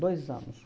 Dois anos.